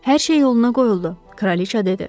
Hər şey yoluna qoyuldu, kraliça dedi.